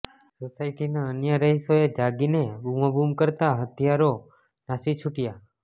સોસાયટીના અન્ય રહીશોએ જાગીને બૂમાબૂમ કરતાં હત્યારો નાસી છુટ્યો